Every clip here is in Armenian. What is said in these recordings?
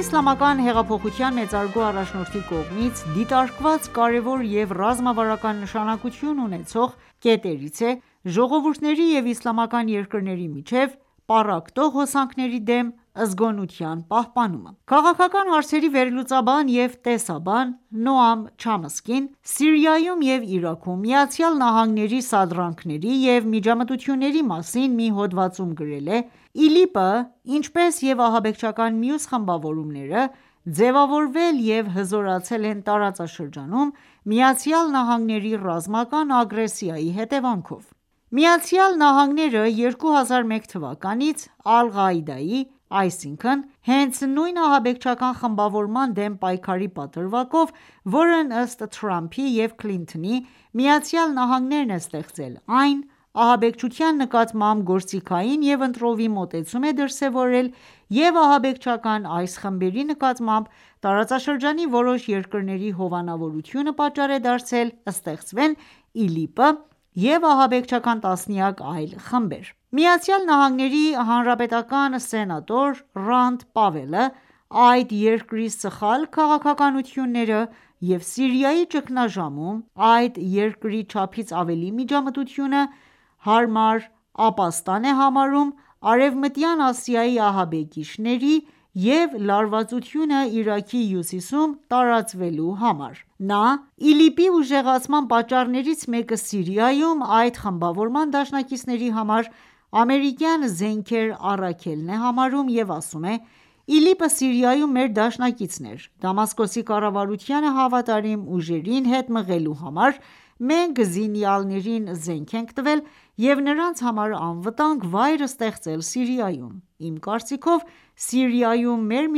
իսլամական հեղափոխության մեծարգո առաջնորդի կողմից դիտարկված կարևոր և ռազմավարական նշանակություն ունեցող կետերից է՝ ժողովուրդների և իսլամական երկրների միջև պառակտող հոսանքների դեմ զգոնության պահպանումը: Քաղաքական հարցերի վերլուծաբան և տեսաբան Նոամ Չամսկին, Սիրիայում և Իրաքում ԱՄՆ-ի սադրանքների և միջամտությունների մասին մի հոդվածում գրել է.«ԻԼԻՊ-ը, ինչպես և ահաբեկչական մյուս խմբավորումները, ձևավորվել և հզորացել են տարածաշրջանում ,ԱՄՆ-ի ռազմական ագրեսիայի հետևանքով»: ԱՄՆ-ը,2001 թվականից՝ Ալղաիդայի, այսինքն հենց նույն ահաբեկչական խմբավորման դեմ պայքարի պատրվակով, որն ըստ Թրամփի և Քլինթոնի, ԱՄՆ-ն է ստեղծել այն ,ահաբեկչության նկատմամբ գործիքային և ընտրովի մոտեցում է դրսևորել և ահաբեկչական այս խմբերի նկատմամբ տարածաշրջանի որոշ երկրների հովանավորությունը, պատճառ է դարձել ստեղծվեն ԻԼԻՊ-ը և ահաբեկչական տասնյակ այլ խմբեր: ԱՄՆ-ի հանրապետական սենատոր Ռանդ Պավելը, այդ երկրի սխալ քաղաքականությունները և Սիրիայի ճգնաժամում այդ երկրի չափից ավելի միջամտությունը ,հարմար ապաստան է համարում արևմտյան Ասիայի ահաբեկիչների և լարվածությունը Իրաքի հյուսիսում տարածվելու համար: Նա ԻԼԻՊ-ի ուժեղացման պատճառներից մեկը՝ Սիրիայում այդ խմբավորման դաշնակիցների համար ամերիկյան զենքեր առաքելն է համարում և ասում է.«ԻԼԻՊ-ը Սիրիայում մեր դաշնակիցն էր: Դամասկոսի կառավարությանը հավատարիմ ուժերին հետ մղելու համար ,մենք զինյալներին զենք ենք տվել և նրանց համար անվտանգ վայր ստեղծել Սիրիայում։ Իմ կարծիքով՝ Սիրիայում մեր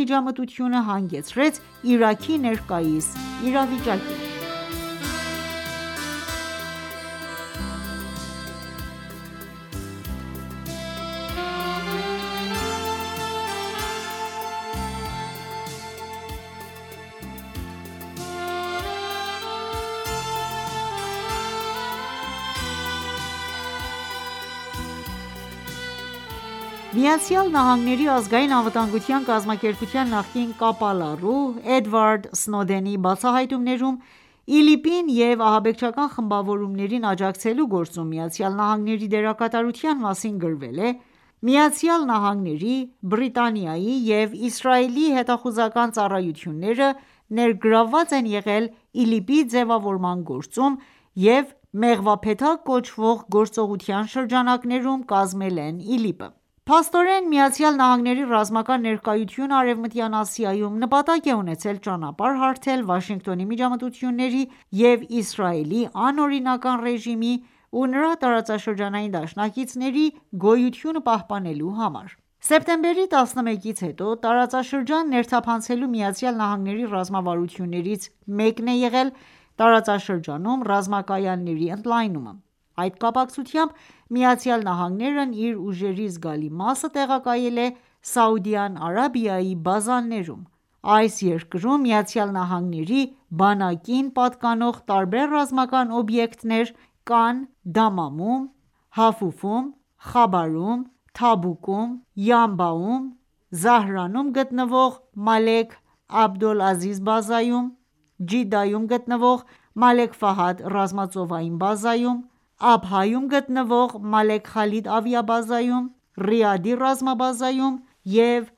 միջամտությունը հանգեցրեց Իրաքի ներկայիս իրավիճակին»: ԱՄՆ-ի Ազգային անվտանգության կազմակերպության նախկին կապալառու Էդվարդ Սնոուդենի բացահայտումներում ,ԻԼԻՊ-ին և ահաբեկչական խմբավորումներին աջակցելու գործում ԱՄՆ-ի դերակատարության մասին գրվել է.«ԱՄՆ-ի, Բրիտանիայի և Իսրայելի հետախուզական ծառայությունները ներգրավված են եղել ԻԼԻՊ-ի ձևավորման գործում և «Մեղվափեթակ» կոչվող գործողության շրջանակներում, կազմել են ԻԼԻՊ-ը»: Փաստորեն, ԱՄՆ-ի ռազմական ներկայությունը արևմտյան Ասիայում նպատակ է ունեցել ճանապարհ հարթել Վաշինգտոնի միջամտությունների և Իսրայելի անօրինական ռեժիմի ու նրա տարածաշրջանային դաշնակիցների գոյությունը պահպանելու համար: Սեպտեմբերի 11-ից հետո տարածաշրջան ներթափանցելու ԱՄՆ-ի ռազմավարություններից մեկն է եղել՝ տարածաշրջանում ռազմակայանների ընդլայնումը: Այդ կապակցությամբ ,ԱՄՆ-ն իր ուժերի զգալի մասը տեղակայել է Սաուդյան Արաբիայի բազաներում։ Այս երկրում ԱՄՆ-ի բանակին պատկանող տարբեր ռազմական օբյեկտներ կան Դամամում, Հաֆուֆում, Խաբարում, Թաբուկում, Յանբաում, Զահրանում գտնվող մալեք Աբդոլ Ազիզի բազայում, Ջիդայում գտնվող մալեք ռազմածովային բազայում, Աբհայում գտնվող մալեք Խալիդ ավիաբազայում, Ռիադի ռազմաբազայում և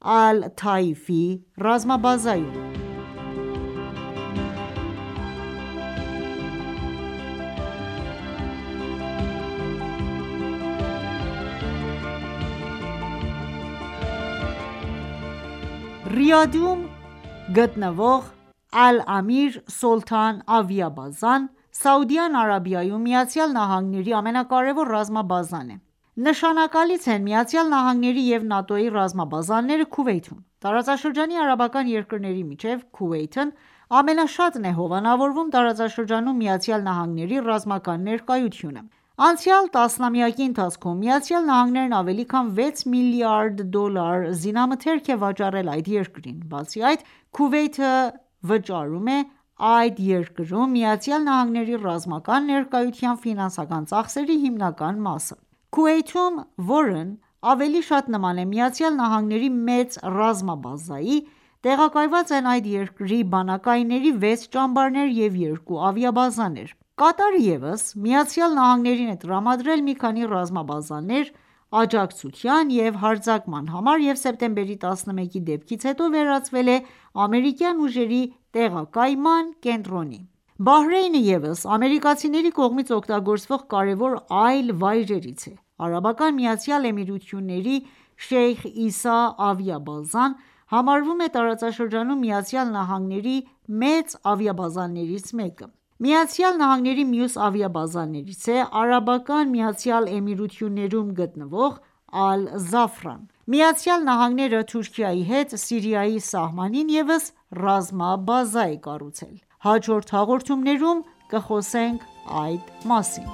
Ռիադի հարավում գտնվող «Ալ-Ամիր Սոլթան» ավիաբազան Սաուդյան Արաբիայում ԱՄՆ-ի ամենակարևոր ռազմաբազան է:Նշանակալից են նաև ԱՄՆ-ի և ՆԱՏՕ-ի ռազմաբազաները Քուվեյթում:Տարածաշրջանի արաբական երկրների մեջ ,Քուվեյթը ամենաշատն է հովանավորում տարածաշրջանում ԱՄՆ-ի ռազմական ներկայությունը: Անցյալ տասնամյակի ընթացքում, ԱՄՆ-ն ավելի քան 6 միլիարդ դոլար զինամթերք է վաճառել այդ երկրին: Բացի այդ, Քուվեյթը վճարում է այդ երկրում ԱՄՆ-ի ռազմական ներկայության ֆինանսական ծախսերի հիմնական մասը: Քուվեյթում ,որն ավելի շատ նման է ԱՄՆ-ի մեծ ռազմաբազայի ,տեղակայված են այդ երկրի բանակայինների 6 ճամբարներ և երկու ավիաբազաներ: Կատարը ևս ԱՄՆ-ին է տրամադրել մի քանի ռազմաբազաներ աջակցության ու հարձակման համար և սեպտեմբերի 11-ի դեպքերից հետո վերածվել է ամերիկյան ուժերի տեղակայման կենտրոնի: Բահրեյնը ևս ամերիկացիների կողմից օգտագործվող կարևոր այլ վայրերից է: Արաբական միացյալ Էմիրությունների Շեյխ Իսա ավիաբազան համարվում է տարածաշրջանում ԱՄՆ-ի մեծ ավիաբազաներից մեկը։ ԱՄՆ-ի մյուս ավիաբազաներից է ԱՄԷ-ում գտնվող ԱՄՆ-ը, Թուրքիայի հետ Սիրիայի սահմանին ևս ռազմաբազա է կառուցել: Հաջորդ հաղորդումներում կխոսենք այս մասին: